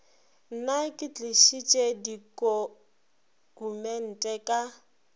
nna ke tlišitše ditokumente ka